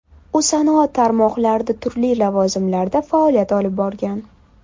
U sanoat tarmoqlarida turli lavozimlarda faoliyat olib borgan.